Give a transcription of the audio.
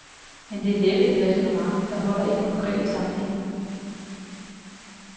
Men det er næppe et ræsonnement, der holder i den konkrete sammenhæng.